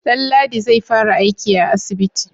Danladi zai fara aiki a asibiti?